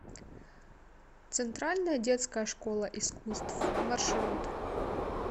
центральная детская школа искусств маршрут